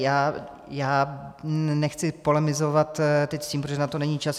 Já nechci polemizovat teď s tím, protože na to není čas.